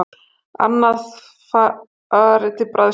Annað fari til bræðslu